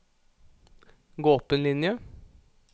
Gå opp en linje